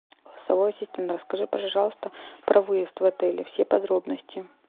голосовой ассистент расскажи пожалуйста про выезд в отеле все подробности